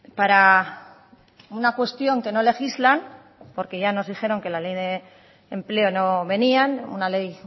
para una cuestión que no legislan porque ya nos dijeron que la ley de empleo no venían una ley